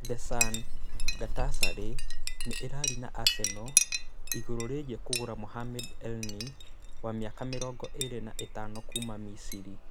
(The Sun) Galatasaray nĩ ĩraaria na Arsenal igũrũ rĩgiĩ kũgũra Mohamed Elneny, wa mĩaka mĩrongo ĩrĩ na ĩtano kuuma Misiri.